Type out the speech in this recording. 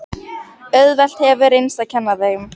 Auðvelt hefur reynst að kenna þeim.